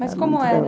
Mas como era?